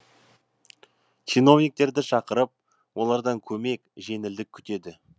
чиновниктерді шақырып олардан көмек жеңілдік күтеді